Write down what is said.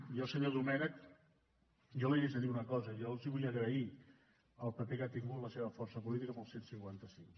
jo senyor domènech jo li haig de dir una cosa jo els vull agrair el paper que ha tingut la seva força política amb el cent i cinquanta cinc